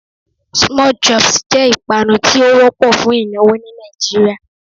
Small chops' jé ìpanu tí ó wópò fún ìnáwó ní Nàìjíríà